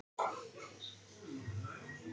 Bent bjargaði stigi á síðustu stundu